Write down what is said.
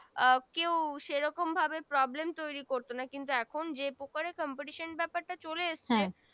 আহ কেও সেরকম ভাবে Problem তৈরি করত না এখন যে প্রকার Competition ব্যাপার চলে এসছে